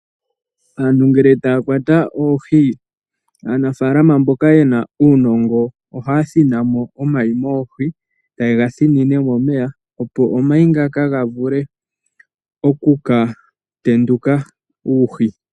Aantu ngele taya kwata oohi, aanafaalama mboka yena uunongo, ohaya thina mo omayi moohi, taye ga thinine momeya, opo omayi ngaka gavule okuka tendula uuhi.